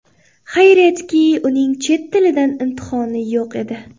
Xayriyatki, uning chet tilidan imtihoni yo‘q edi.